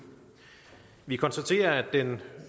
vi konstaterer at den